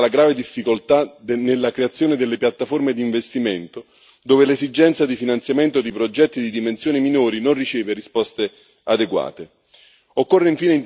Così come va superata la grave difficoltà nella creazione delle piattaforme di investimento, dove l'esigenza di finanziamento di progetti di dimensioni minori non riceve risposte adeguate.